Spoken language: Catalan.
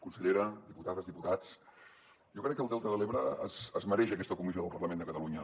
consellera diputades diputats jo crec que el delta de l’ebre es mereix aquesta comissió del parlament de catalunya